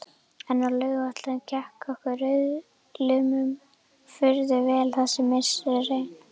En á Laugarvatni gekk okkur rauðliðum furðu vel þessi misserin.